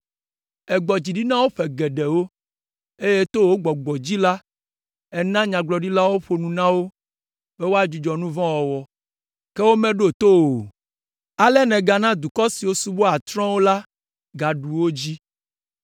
Ègbɔ dzi ɖi na wo ƒe geɖewo, eye to wò Gbɔgbɔ dzi la, èna nyagblɔɖilawo ƒo nu na wo be woadzudzɔ nu vɔ̃ wɔwɔ, ke womeɖo to wo o. Ale nègana dukɔ siwo subɔa trɔ̃wo la gaɖu wo dzi.